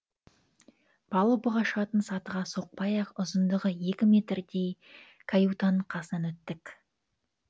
палубаға шығатын сатыға соқпай ақ ұзындығы екі метрдей каютаның қасынан өттік